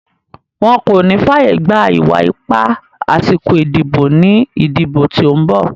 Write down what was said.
Wọn kò ní fàyègba ìwà ipá àsìkò ìdìbò ní ìdìbò tí ó ń bọ̀.